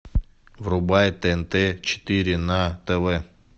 врубай тнт четыре на тв